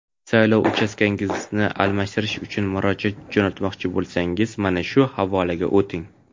Saylov uchastkangizni almashtirish uchun murojaat jo‘natmoqchi bo‘lsangiz mana bu havolaga o‘ting.